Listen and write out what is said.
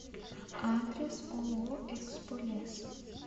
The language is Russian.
адрес ооо эксполес